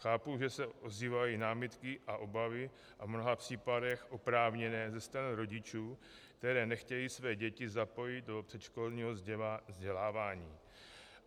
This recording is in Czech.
Chápu, že se ozývají námitky a obavy, a v mnoha případech oprávněné, ze strany rodičů, kteří nechtějí své děti zapojit do předškolního vzdělávání.